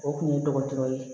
O kun ye dɔgɔtɔrɔ ye